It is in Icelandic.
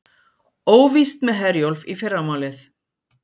Óvíst með Herjólf í fyrramálið